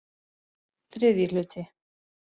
III hluti